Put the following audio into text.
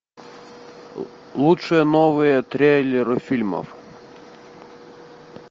лучшие новые трейлеры фильмов